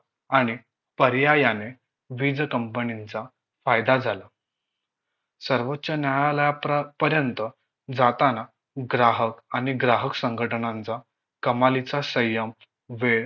आणि पर्यायाने वीज company चा फायदा झाला सर्वोच्च न्यायालयाप्रा पर्यंत जाताना ग्राहक आणि ग्राहक संघटनांचा कमालीचा सय्यम वेळ